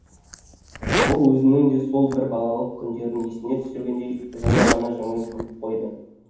ол өзінің де сол бір балалық күндерін есіне түсіргендей жылы ғана жымиып күліп қойды